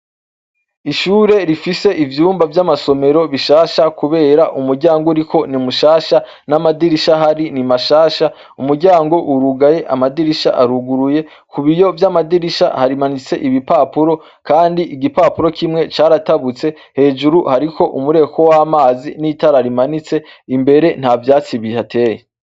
Ishure rifise ivyumba vy'amasomero bishasha kubera umuryango uriko ni mushasha. N'amadirisha ahari ni mashasha. Umuryango urugaye, amadirisha aruguruye. Ku biyo vy'amadirisha hamanitse ibipapuro kandi igipapuro kimwe caratabutse. Hejuru hariko umureko w'amazi n'itara rimanitse. Imbere ntavyatsi bihateye.